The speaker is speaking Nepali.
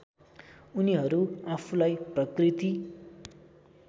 उनीहरू आफूलाई प्रकृति